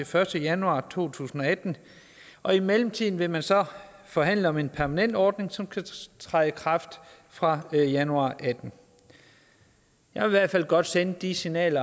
første januar to tusind og atten og i mellemtiden vil man så forhandle om en permanent ordning som kan træde i kraft fra januar to og atten jeg vil godt sende det signal